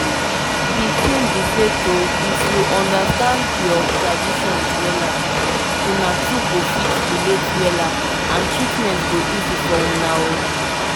na correct tin' when hospital workers dey explain treatment with explain treatment with simple word wey sweet for ear plus respect.